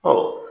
Ɔ